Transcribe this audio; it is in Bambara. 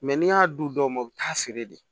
n'i y'a du dɔw ma u bɛ taa feere de